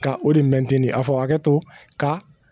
Ka o de mɛnti a fɔ a hakɛ to ka